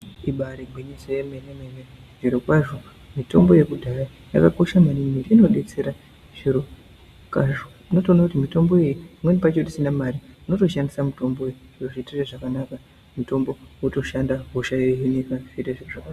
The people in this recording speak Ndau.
Ibari gwinyiso yemene mene zvirikwazvo mitombo yekudhaya yakakosha maningi inodetsera zvirokwazvo unotoona kuti mitombo iyi pamweni pacho tisina mari unotoshandisa mitombo iyi yokuitira zvakanaka mutombo wotoshanda hosha yohinika.